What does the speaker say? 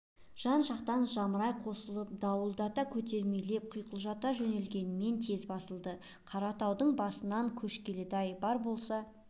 жан-жақтан жамырай қосылып дуылдата көтермелеп құйқылжыта жөнелгенмен тез басылды қаратаудың басынан көш келеді-ай бар болса